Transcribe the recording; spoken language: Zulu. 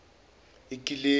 ikileku